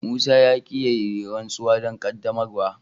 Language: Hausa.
Musa ya ki ya yi rantsuwa don qaddamarwa.